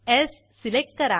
स् सिलेक्ट करा